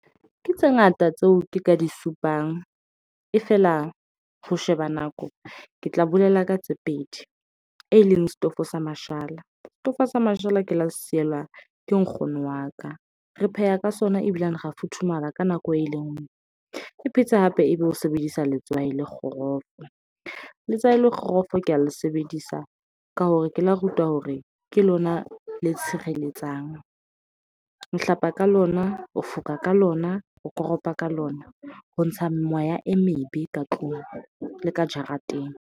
Ke tse ngata tseo ke ka di supang. E feela ho sheba nako ke tla bolela ka tse pedi, e leng setofo sa mashala. Setofo sa mashala ke la se sielwa ke nkgono wa ka. Re pheha ka sona ebileng ra futhumala ka nako e le nngwe. Ke phetse hape ebe ho sebedisa letswai le kgorofo. Letswai le kgorofo ke a le sebedisa ka hore ke la rutwa hore ke lona le tshireletsang. Ho hlapa ka lona, o fokola ka lona, o koropa ka lona. Ho ntsha moya e mebe ka tlung le ka jarateng.